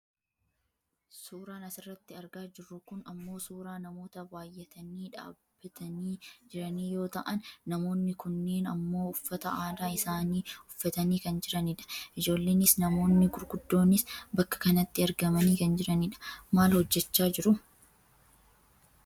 Suuraan asirratti argaa jirru kun ammoo suuraa namoota baayyatanii dhaabbatanii jiranii yoo ta'an namoonni kunneen ammoo uffata aadaa isaanii uffatanii kan jiranidha. Ijoolleenis namoonni gurguddoonis bakka kanatti argamanii kan jiranidha. Maal hojjachaa jiru?